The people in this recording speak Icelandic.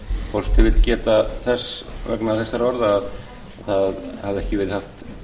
forseti vill geta þess vegna þessara orða að það hafði ekki verið haft